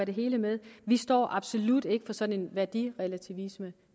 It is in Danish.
det hele med vi står absolut ikke for sådan værdirelativisme